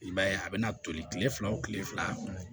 I b'a ye a bɛna toli kile fila o kile fila